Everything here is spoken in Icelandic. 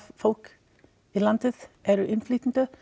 fólki í landinu eru innflytjendur